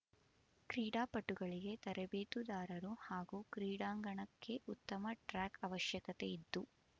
ಕ್ರೀಡಾಪಟುಗಳಿಗೆ ತರಬೇತುದಾರರು ಹಾಗೂ ಕ್ರೀಡಾಂಗಣಕ್ಕೆ ಉತ್ತಮ ಟ್ರಾಕ್ ಅವಶ್ಯಕತೆಯಿದ್ದು